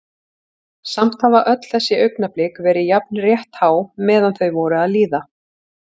Samt hafa öll þessi augnablik verið jafn rétthá meðan þau voru að líða.